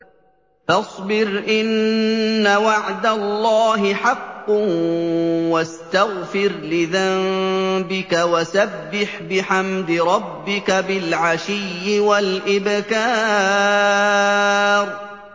فَاصْبِرْ إِنَّ وَعْدَ اللَّهِ حَقٌّ وَاسْتَغْفِرْ لِذَنبِكَ وَسَبِّحْ بِحَمْدِ رَبِّكَ بِالْعَشِيِّ وَالْإِبْكَارِ